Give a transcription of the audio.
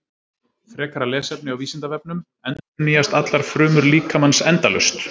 Frekara lesefni á Vísindavefnum: Endurnýjast allar frumur líkamans endalaust?